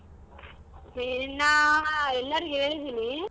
ಇನ್ನಾ ಎಲ್ಲಾರಿಗು ಹೇಳದೀನಿ.